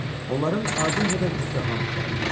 Onların ardınca da İstiham irəliləyirdi.